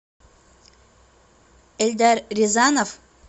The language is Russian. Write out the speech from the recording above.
эльдар рязанов